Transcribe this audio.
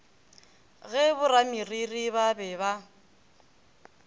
ge borameriri ba be ba